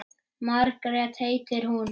Margrét heitir hún.